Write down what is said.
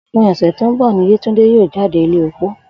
Òpin ò̩sè̩ tó ń bò̩ ni Yétúndé yóò jáde ilé opó